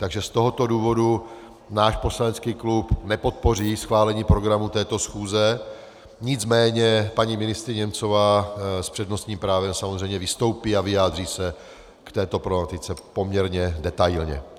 Takže z tohoto důvodu náš poslanecký klub nepodpoří schválení programu této schůze, nicméně paní ministryně Němcová s přednostním právem samozřejmě vystoupí a vyjádří se k této problematice poměrně detailně.